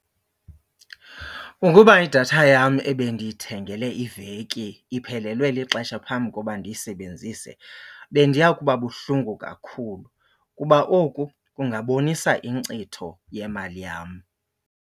Ukuba idatha yam ebendiyithengele iveki iphelelwe lixesha phambi koba ndiyisebenzise bendiya kuba buhlungu kakhulu kuba oku kungabonisa inkcitho yemali yam.